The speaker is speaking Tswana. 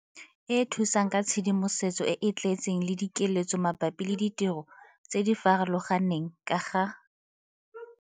E thusang ka tshedimosetso e e tletseng le dikeletso mabapi le ditiro tse di farologaneng ka ga.